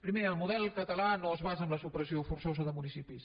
primer el model català no es basa en la supressió forçosa de municipis